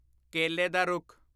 ਕੇਲੇ ਦਾ ਰੁੱਖ